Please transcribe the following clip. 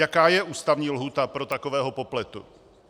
Jaká je ústavní lhůta pro takového popletu?